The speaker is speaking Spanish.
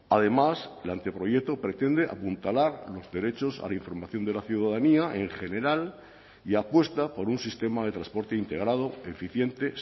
además el anteproyecto pretende apuntalar los derechos a la información de la ciudadanía en general y apuesta por un sistema de transporte integrado eficiente